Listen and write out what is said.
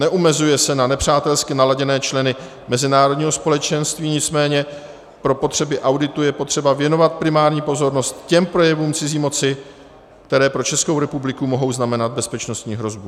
Neomezuje se na nepřátelsky naladěné členy mezinárodního společenství, nicméně pro potřeby auditu je potřeba věnovat primární pozornost těm projevům cizí moci, které pro Českou republiku mohou znamenat bezpečnostní hrozbu.